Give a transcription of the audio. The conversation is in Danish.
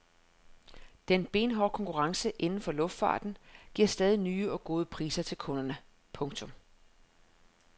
Den benhårde konkurrence inden for luftfarten giver stadig nye og gode priser til kunderne. punktum